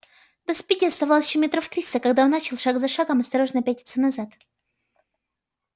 до спиди оставалось ещё метров триста когда он начал шаг за шагом осторожно пятиться назад